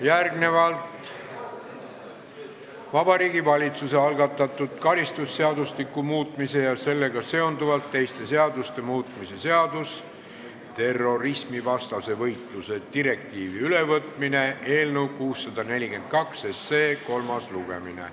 Järgnevalt Vabariigi Valitsuse algatatud karistusseadustiku muutmise ja sellega seonduvalt teiste seaduste muutmise seaduse eelnõu 642 kolmas lugemine.